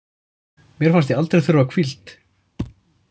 Mér fannst ég aldrei þurfa hvíld